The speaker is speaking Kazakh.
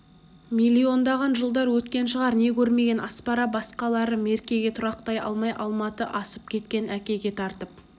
миллиондаған жылдар өткен шығар не көрмеген аспара басқалары меркеге тұрақтай алмай алматы асып кеткен әкеге тартып